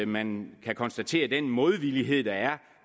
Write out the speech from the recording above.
man kan konstatere den modvilje der er